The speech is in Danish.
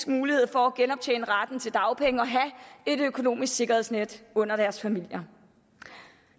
mulighed for at genoptjene retten til dagpenge og have et økonomisk sikkerhedsnet under deres familier